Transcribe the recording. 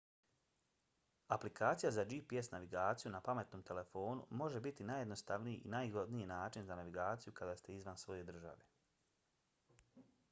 aplikacija za gps navigaciju na pametnom telefonu može biti najjednostavniji i najzgodniji način za navigaciju kada ste izvan svoje države